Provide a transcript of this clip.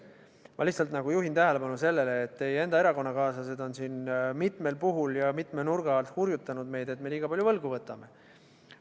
Ma lihtsalt juhin tähelepanu sellele, et teie enda erakonnakaaslased on siin mitmel puhul ja mitme nurga alt hurjutanud meid, et me liiga palju võlgu võtame.